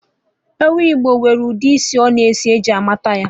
Ewu Igbo nwere ụdị isi ọ na-esi eji mata ya